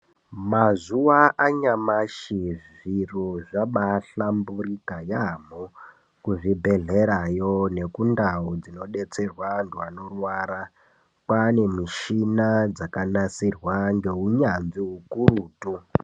Mazuva anyamashi zviro zvabai hlamburika yamho ku zvibhedhlera yo neku ndau dzino detserwa antu anorwara kwane mishina dzaka nasirwa nge unyanzvi ukurutu.